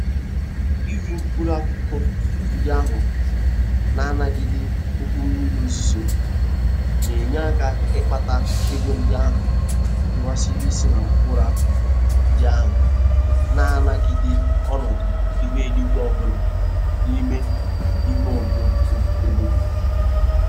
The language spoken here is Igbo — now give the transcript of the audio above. Ire mkpụrụ akụkụ ndị ahụ na-anagide oke mmiri ozuzo na-enye aka ịkpata ego ndị ahụ hiwara isi na mkpụrụ akụkụ ndị ahụ na-anagide ọnọdụ ihu eluigwe ọbụla n'ime ime obodo.